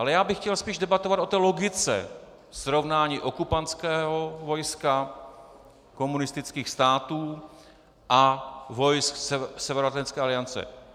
Ale já bych chtěl spíš debatovat o té logice srovnání okupantského vojska komunistických států a vojsk Severoatlantické aliance.